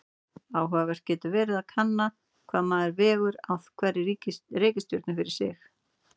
Áhugavert getur verið að kanna hvað maður vegur á hverri reikistjörnu fyrir sig.